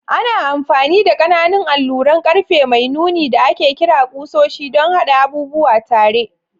Ana amfani da ƙananan alluran ƙarfe mai nuni da ake kira ƙusoshi don haɗa abubuwa tare.